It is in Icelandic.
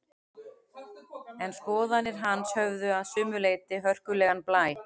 En skoðanir hans höfðu að sumu leyti hörkulegan blæ.